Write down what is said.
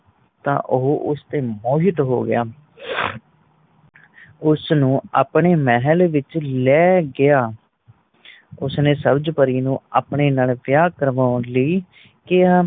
ਤਾਂ ਉਸ ਦਿਨ ਮੋਹਿਤ ਹੋ ਗਿਆ ਉਸਨੂੰ ਆਪਣੇ ਮਹੱਲ ਵਿੱਚ ਲੈ ਗਿਆ ਉਸਨੇ ਸਬਜ ਪਰੀ ਨੂੰ ਆਪਣੇ ਨਾਲ ਵਿਆਹ ਕਰਵਾਣ ਲਈ ਕਿਆ